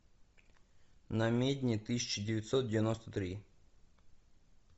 намедни тысяча девятьсот девяносто три